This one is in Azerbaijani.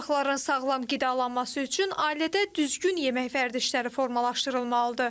Uşaqların sağlam qidalanması üçün ailədə düzgün yemək vərdişləri formalaşdırılmalıdır.